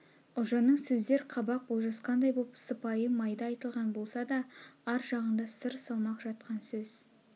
ұлжанның сөздер қабақ болжасқандай боп сыпайы майда айтылған болса да ар жағында сыр салмақ жатқан сөз